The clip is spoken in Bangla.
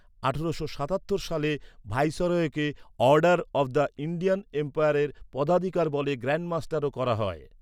আঠারোশো সাতাত্তর সালে ভাইসরয়কে অর্ডার অফ দ্য ইন্ডিয়ান এম্পায়ারের পদাধিকারবলে গ্র্যান্ড মাস্টারও করা হয়।